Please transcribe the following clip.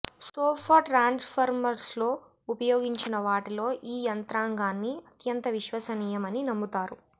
sofa ట్రాన్స్ఫార్మర్స్లో ఉపయోగించిన వాటిలో ఈ యంత్రాంగాన్ని అత్యంత విశ్వసనీయమని నమ్ముతారు